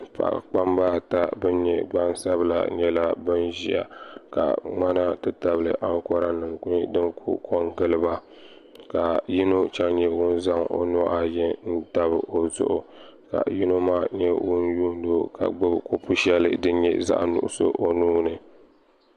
Paɣa kpamba ata ban nyɛ gbansabila nyɛla ban ʒia ka ŋmana ti tabili ankora nima kuli kongili ba ka yino chen nyɛ ŋun zaŋ o nuhi ayi n tabi o zuɣu ka yino maa yuuni o ka gbibi buku sheli din nyɛ zaɣa nuɣuso o nuuni.